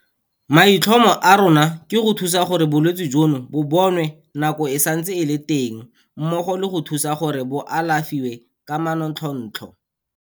"Maitlhomo a rona ke go thusa gore bolwetse jono bo bonwe nako e santse e le teng mmogo le go thusa gore bo alafiwa ka manontlhotlho."